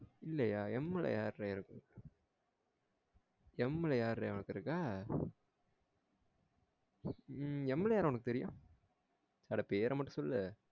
இல்லையா M யாரா இருக்கும் M ல யார்ரா உனக்கு இருக்கா உம் M ல யார் உனக்கு தெரியும் அட பேர மட்டும் சொல்லு